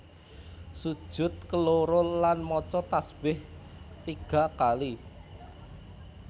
Sujud keloro lan maca tasbih tiga kali